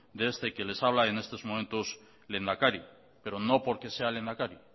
de este que les habla y en estos momentos lehendakari pero no porque sea lehendakari